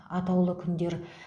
атаулы күндер